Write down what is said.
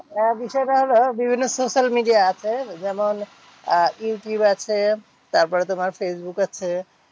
আহ বিষয় টা হলো, বিভিন্ন social media আছে, যেমন আহ ইউটিউব আছে। তারপরে তোমার ফেসবুক আছে।